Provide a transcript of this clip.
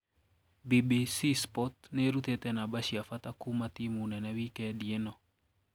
BBC Sport niirutite namba cia bata kuuma timu nene wikendi ino.